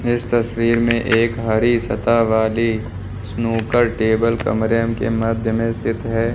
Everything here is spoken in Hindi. इस तस्वीर में एक हरी सतह वाली स्नूकर टेबल कमरे के मध्य में स्थित है।